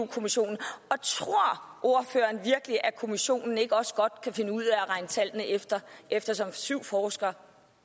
kommissionen og tror ordføreren virkelig at kommissionen ikke også godt kan finde ud af at regne tallene efter eftersom syv forskere